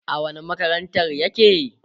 a wani makarantar yake?